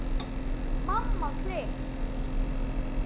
Mamma klikk!